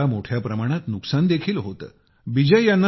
यामुळे अनेकदा मोठ्या प्रमाणात नुकसान देखील होते